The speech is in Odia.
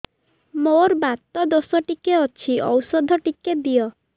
ମୋର୍ ବାତ ଦୋଷ ଟିକେ ଅଛି ଔଷଧ ଟିକେ ଦିଅ